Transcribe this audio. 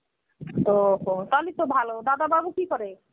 ওহ, তাতো ভালো. দাদাবাবু কি করে?